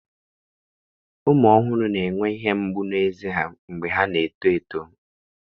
Ụmụ ọhụrụ na-enwe ihe mgbu na ézè ha mgbe ha na-eto eto.